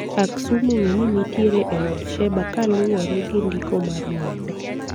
Aksum ong'e ni nitiere e od Sheba kuluwore gi ndiko mar muma